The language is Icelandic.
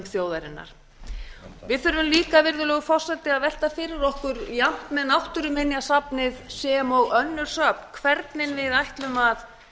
þjóðarinnar við þurfum líka virðulegur forseti að velta fyrir okkur jafnt með náttúruminjasafnið sem og önnur söfn hvernig við ætlum að